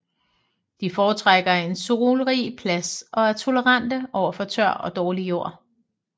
De foretrækker en solrig plads og er tolerante over for tør og dårlig jord